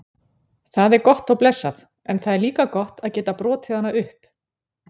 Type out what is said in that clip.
Það er gott og blessað en það er líka gott að geta brotið hana upp.